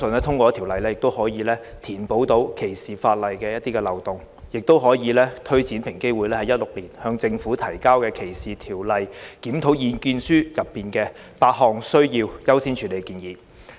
《條例草案》可填補歧視法例現存的漏洞，亦有助推展平機會在2016年發表的《歧視條例檢討：向政府提交的意見書》中8項需優先處理的建議。